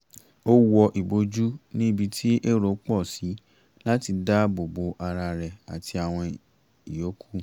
ó wọ ìbòjú ní ibi tí èrò pọ̀ sí láti dá àbò bo ara rẹ̀ àti àwọn ìyókù